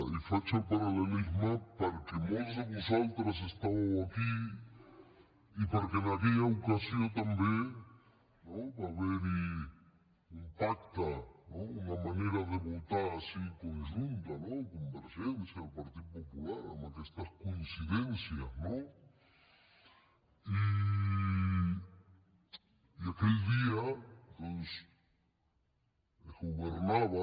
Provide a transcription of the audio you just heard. i faig el paral·lelisme perquè molts de vosaltres estàveu aquí i perquè en aquella ocasió també va haver hi un pacte una manera de votar així conjunta convergència i el partit popular amb aquestes coincidències no i aquell dia doncs es governava